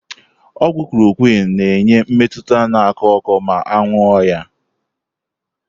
Ogwu Chloroquine na-enye mmetụta na ako oko ma ṅụo ya.